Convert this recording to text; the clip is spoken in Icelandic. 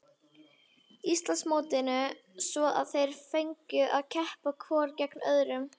Íslandsmótinu svo að þeir fengju að keppa hvor gegn öðrum.